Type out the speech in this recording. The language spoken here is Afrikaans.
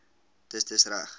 dis dis reg